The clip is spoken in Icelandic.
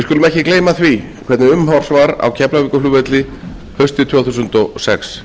ekki gleyma því hvernig umhorfs var á keflavíkurflugvelli haustið tvö þúsund og sex